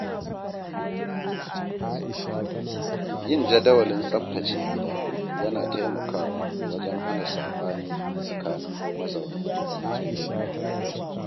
Yin jadawalin tsaftace gida yana taimakawa wajen hana saɓani tsakanin mazauna gida.